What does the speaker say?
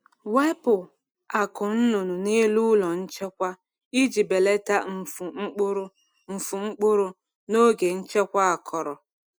Wepu akụ́ nnụnụ n’elu ụlọ nchekwa iji belata mfu mkpụrụ mfu mkpụrụ n’oge nchekwa akọrọ.